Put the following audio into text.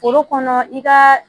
Foro kɔnɔ i ka